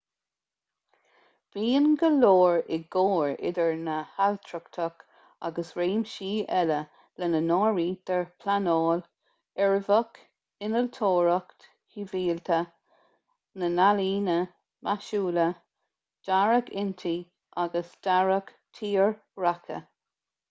bíonn go leor i gcomhar idir an ailtireacht agus réimsí eile lena n-áirítear pleanáil uirbeach innealtóireacht shibhialta na healaíona maisiúla dearadh intí agus dearadh tírdhreacha